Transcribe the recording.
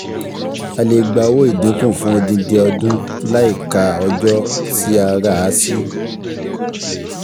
a lè gba owó ìdínkù fún odindi ọdún láìka ọjọ́ tí a rà á sí.